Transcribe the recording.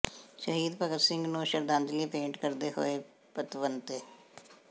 ਸ਼ਹੀਦ ਭਗਤ ਸਿੰਘ ਨੂੰ ਸ਼ਰਧਾਂਜਲੀ ਭੇਟ ਕਰਦੇ ਹੋਏ ਪਤਵੰਤੇ